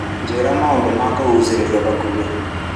Njĩra maũndũ ma kũgucĩrĩria hakuhĩ.